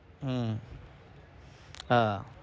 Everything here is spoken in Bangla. হম আহ